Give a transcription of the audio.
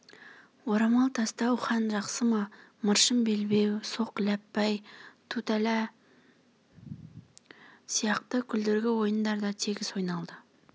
орамал тастау хан жақсы ма мыршым белбеу соқ ләппай тутәлә сияқты күлдіргі ойындар да тегіс ойналды